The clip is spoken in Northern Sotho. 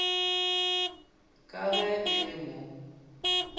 ka ge e le mo